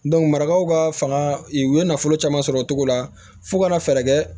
marakaw ka fanga u ye nafolo caman sɔrɔ o cogo la fo kana fɛɛrɛ kɛ